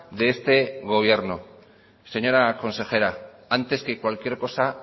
de este gobierno señora consejera antes que cualquier cosa